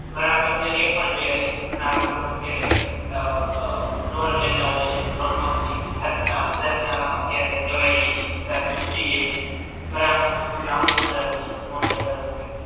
ઘણા તો અત્યારે એ પણ જોયા છે કે ઘણા લોકો અત્યારે અ બ લોન લેતા હોય છે ને લોન મા પછી ઉધાર ના, ઉધાર મા અત્યારે લેવાઈ જાય છે ઉધાર બહુ વધી જાય છે ઘણા પાસે તો બહુ લાંબો ઉધાર હોય છે લોન લેતા હોય છે.